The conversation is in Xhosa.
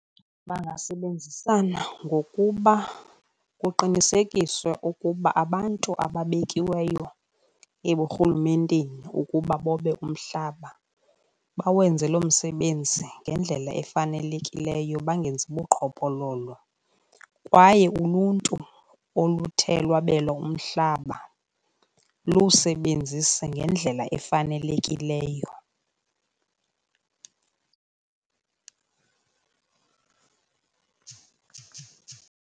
Bangasebenzisana ngokuba kuqinisekiswe ukuba abantu ababekiweyo eburhulumenteni ukuba bobe umhlaba bawenze loo msebenzi ngendlela efanelekileyo bangenzi buqhophololo. Kwaye uluntu oluthe lwabelwa umhlaba luwusebenzise ngendlela efanelekileyo.